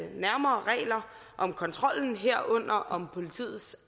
nærmere regler om kontrollen herunder om politiets